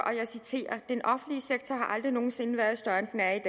og jeg citerer den offentlige sektor har aldrig nogen sinde været større end den er